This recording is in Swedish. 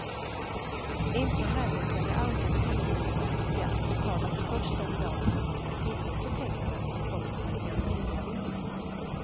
Inte heller kan det anses orimligt att skatt betalas först den dag som man har tillgång till pengarna som kommer från en reavinst.